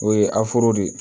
O ye de ye